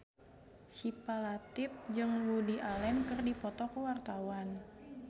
Syifa Latief jeung Woody Allen keur dipoto ku wartawan